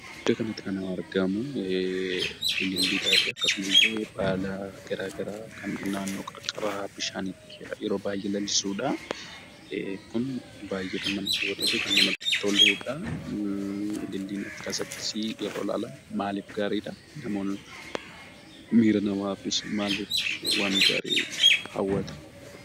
Iddoo kanatti kan argamu, Ililliidhaafi akkasumallee, baala garaagaraa kan naannoo qarqara bishaaniitti yeroo baay'ee lalisudha. Kun baay'ee kan nama hawwatuufi kan namatti toludha. Ililliin akkas akkasii yeroo ilaalamu maaliif gaariidha; miira namaafis maaliifis waan gaarii hawwata?